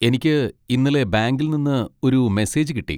എനിക്ക് ഇന്നലെ ബാങ്കിൽ നിന്ന് ഒരു മെസ്സേജ് കിട്ടി.